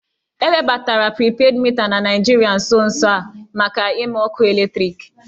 E webatara pripedị mita na Naịjirịa nso nso a maka ịmụ ọkụ eletriki